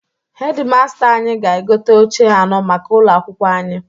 Hedi masta anyị ga-egote oche anọ maka ụlọ akwụkwo anyị.